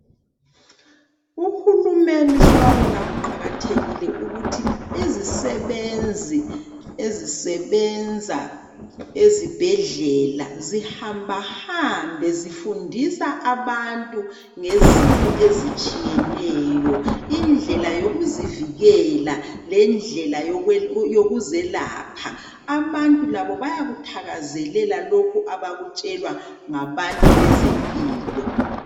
Uhulumeni sewabona kuqakathekile ukuthi izisebenzi ezisebenza ezibhedlela zihambahambe zifundisa abantu ngezifo ezitshiyeneyo, indlela yokuzivikela lendlela yokuzelapha. Abantu labo bayakuthakazelela lokhu abakutshelwa ngabantu bezempilo.